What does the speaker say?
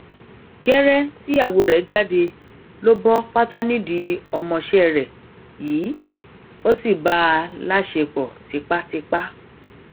gẹrẹ tíyàwó rẹ jáde ló bọ pátá nídìí ọmọọṣẹ rẹ yìí ó sì bá a láṣẹpọ tipátipá